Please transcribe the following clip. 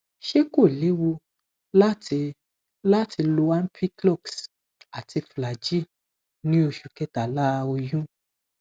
ṣé kó léwu láti láti lo ampiclox àti flagyl ní osu kẹtàlá oyún